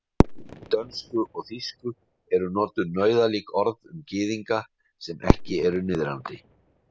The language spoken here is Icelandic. Í dönsku og þýsku eru notuð nauðalík orð um gyðinga sem ekki eru niðrandi.